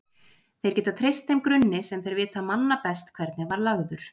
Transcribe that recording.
Þeir geta treyst þeim grunni sem þeir vita manna best hvernig var lagður.